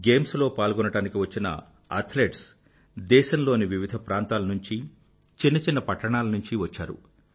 games లో పాల్గొనడానికి వచ్చిన అథ్లెట్స్ దేశం లోని వివిధ ప్రాంతాల నుండి చిన్న చిన్న పట్టణాల్లోంచీ వచ్చారు